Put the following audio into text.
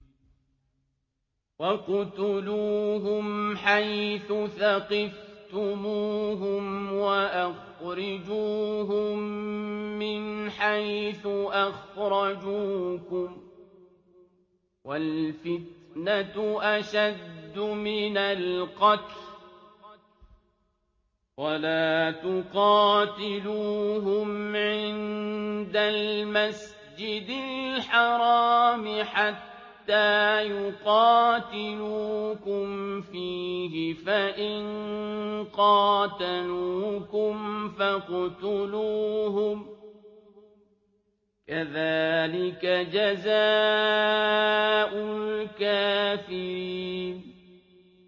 وَاقْتُلُوهُمْ حَيْثُ ثَقِفْتُمُوهُمْ وَأَخْرِجُوهُم مِّنْ حَيْثُ أَخْرَجُوكُمْ ۚ وَالْفِتْنَةُ أَشَدُّ مِنَ الْقَتْلِ ۚ وَلَا تُقَاتِلُوهُمْ عِندَ الْمَسْجِدِ الْحَرَامِ حَتَّىٰ يُقَاتِلُوكُمْ فِيهِ ۖ فَإِن قَاتَلُوكُمْ فَاقْتُلُوهُمْ ۗ كَذَٰلِكَ جَزَاءُ الْكَافِرِينَ